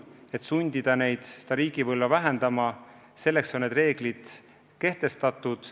Et sundida neid riike oma võlga vähendama, ongi need reeglid kehtestatud.